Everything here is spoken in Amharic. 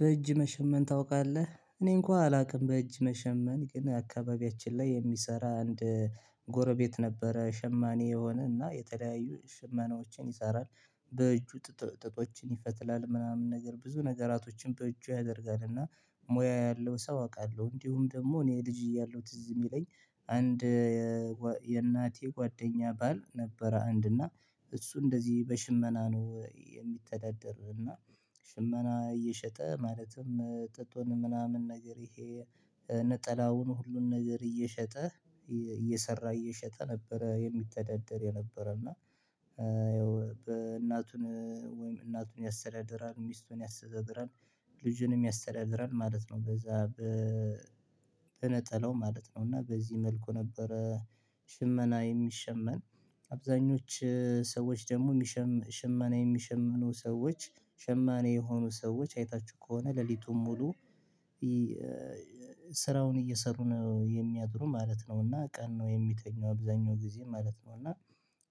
በእጅ መሸመን ታውቃለህ እኔ እንኳን አላውቅም በእጅ መሸመን ግን አካባቢያችን ላይ የሚሰራ አንድ ጎረቤት ነበረ ሸማኔ የሆነ እና የተለያዩ ሸማኔዎችን ይሰራል በእጁ ጥጦችን ይፈትላል ምናምን ነገር ብዙ ነገራቶችን በእጁ ያደርጋል እና ሙያ ያለው ሰው አውቃለሁ። እንዲሁም ደግሞ እኔ ልጅ እያለሁ ትዝ ሚለኝ አንድ የእናቴ ጓደኛ ባል ነበረ አንድ እና እሱ እንደዚህ በሽመና ነው የሚተዳደር። እና ሽመና እየሸጠ ማለትም ጥጡን ምናምን ነገር ይሄ ነጠላውን ሁሉን ነገር እየሸጠ እየሰራ እየሸጠ ነበረ የሚተዳደር የነበረ። እና ያው እናቱን ወይም እናቱን ያስተዳድራል ሚስቱን ያስተዳድራል ልጁንም ያስተዳድራል ማለት ነው በዛ በነጠላው ማለት ነው። እና በዚህ መልኩ ነበረ። ሽመና የሚሸመን አብዛኞቹ ሰዎች ደግሞ ሽመና የሚሸምኑ ሰዎች ሽማኔ የሆኑ ሰዎች አይታችሁ ከሆነ ሌሊቱን ሙሉ ስራውን እየሰሩ ነው የሚያድሩ ማለት ነው። እና ቀን ነው የሚተኛው አብዛኛው ጊዜ ማለት ነው። እና